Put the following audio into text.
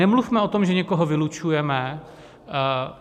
Nemluvme o tom, že někoho vylučujeme.